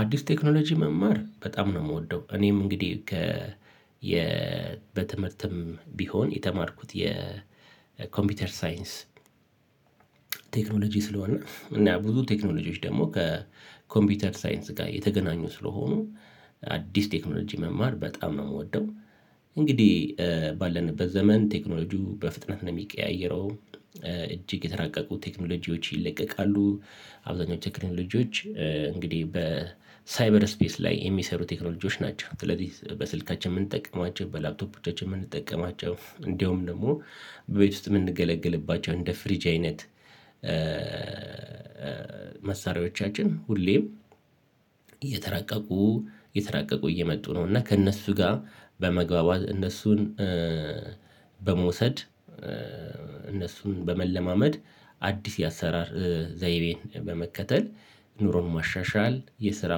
አዲስ ቴክኖሎጂ መማር በጣም ነው ምወደው እኔም እንግዲህ ከ የ በትምህርትም ቢሆን የተማርኩት የኮምፒውተር ሳይንስ ቴክኖሎጂ ስለሆነ እና ብዙ ቴክኖሎጂዎች ደግሞ ከኮምፒውተር ሳይንስ ጋር የተገናኙ ስለሆኑ አዲስ ቴክኖሎጂ መማር በጣም ነው ምወደው። እንግዲህ ባለንበት ዘመን ቴክኖሎጂው በፍጥነት ነው ሚቀያየረው። እጅግ የተራቀቁ ቴክኖሎጂዎች ይለቀቃሉ። አብዛኛው ቴክኖሎጂዎች እንግዲህ በሳይበር ስፔስ ላይ የሚሰሩ ቴክኖሎጂዎች ናቸው ስለዚህ በስልካችን ምንጠቀማቸው በላፕቶፖቻችን የምንጠቀማቸው እንደውም ደግሞ ቤት ውስጥ ምንገለግልባቸው እንደ ፍሪጅ አይነት። መሳሪያዎቻችን ሁሌም እየተራቀቁ እየተራቀቁ እየመጡ ነው። እና ከእነሱ ጋር በመግባባት እነሱን በመውሰድ እነሱን በመለማመድ አዲስ የአሰራር ዘይቤ በመከተል ኑሮን ማሻሻል የስራ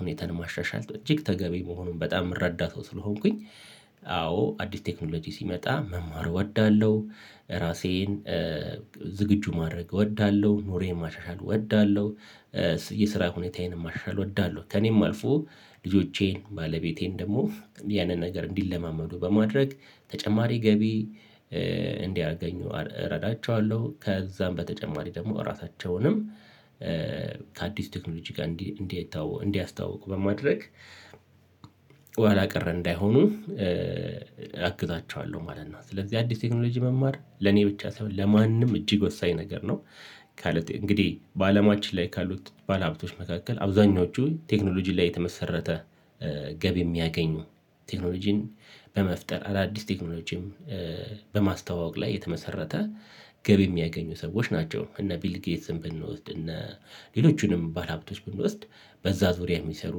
ሁኔታን ማሻሻል እጅግ ተገቢ መሆኑን በጣም ምረዳ ሰው ስለሆንኩኝ። አዎ አዲስ ቴክኖሎጂ ሲመጣ መማር እወዳለሁ። ራሴን ዝግጁ ማድረግ እወዳለሁ ኑሮየን ማሻሻል እወዳለሁ። የስራ ሁኔታዬንም ማሻሻል እወዳለሁ። ከእኔም አልፎ ልጆቼን ባለቤቴን ደግሞ ያንን ነገር እንዲለማመዱ በማድረግ ተጨማሪ ገቢ እንዲያገኙ እረዳቸዋለሁ ከዛም በተጨማሪ ደግሞ እራሳቸውንም ከአዲስ ቴክኖሎጂ ጋር እንዲያ እንዲያተዋ እንዲያስተዋውቁ በማድረግ ኋላቀር እንዳይሆኑ አግዛቸዋለሁ ማለት ነው። ስለዚህ አዲስ ቴክኖሎጂ መማር ለኔ ብቻ ሳይሆን ለማንም እጅግ ወሳኝ ነገር ነው። ከሉት እንግዲህ በአለማችን ላይ ካሉት ባለሀብቶች መካከል አብዛኞቹ ቴክኖሎጂ ላይ የተመሰረተ ገቢ የሚያገኙ ቴክኖሎጂን በመፍጠር አዳዲስ ቴክኖሎጂም በማስተዋወቅ ላይ የተመሰረተ ገቢ የሚያገኙ ሰዎች ናቸው። እነ ቢል ጌትን ብንወስድ እነ ሌሎቹንም ባለሀብቶች ብንወስድ በዛ ዙሪያ የሚሰሩ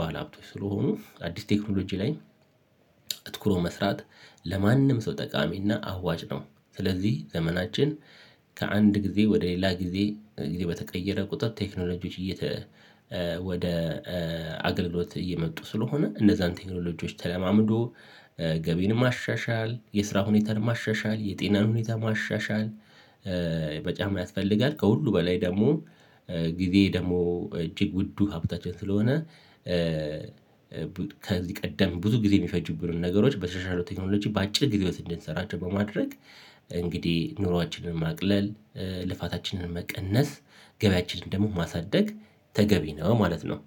ባለሀብቶች ስለሆኑ አዲስ ቴክኖሎጂ ላይ አትኩሮ መስራት ለማንም ሰው ጠቃሚና አዋጭ ነው። ስለዚህ ዘመናችን ከአንድ ጊዜ ወደ ሌላ ጊዜ ጊዜ በተቀየረ ቁጥር ቴክኖሎጂዎች እየተ ወደ አገልግሎት እየመጡ ስለሆነ እንደዛን ቴክኖሎጂዎች ተለማምዶ ገቢን ማሻሻል የስራ ሁኔታን ማሻሻል የጤናን ሁኔታ ማሻሻል። በጫማ ያስፈልጋል ከሁሉ በላይ ደግሞ ጊዜ ደሞ እጅግ ውዱ ሀብታችን ስለሆነ። ከዚህ ቀደም ብዙ ጊዜ ሚፈጁብንን ነገሮች በተሻሻሉ ቴክኖሎጅ በአጭር ጊዜ ውስጥ እንድንሰራቸው በማድረግ እንግዲህ ኑሮአችንን ማቅለል ልፋታችንን መቀነስ ገቢያችንን ደግሞ ማሳደግ ተገቢ ነው ማለት ነው